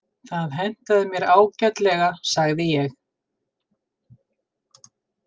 Það hentaði mér ágætlega, sagði ég.